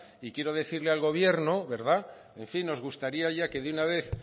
y quiero decirle al gobierno en fin nos gustaría ya que de una vez